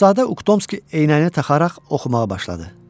Şahzadə Uktonski eynəyini taxaraq oxumağa başladı.